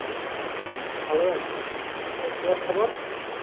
হম ভালো আছি বল তোমার খবর